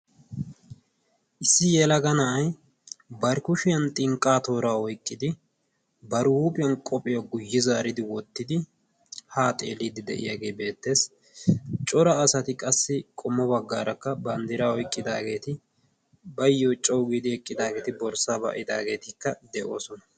issi yelaga na7ai barkkushiyan xinqqaa toora oiqqidi bari huuphiyan qophiyaa guyye zaaridi wottidi haa xeeliiddi de7iyaagee beettees. cora asati qassi qommo baggaarakka banddira oiqqidaageeti bayyo cou giidi eqqidaageeti borssa ba7idaageetikka de7oosona.